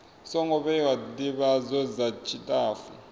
songo vhewa ndivhadzo dza tshitafu